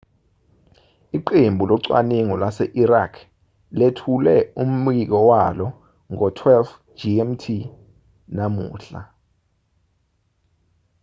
iqembu locwaningo lase-iraq lethule umbiko walo ngo-12,00 gmt namuhla